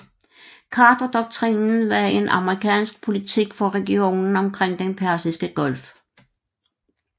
Carterdoktrinen var en amerikansk politik for regionen omkring den Persiske Golf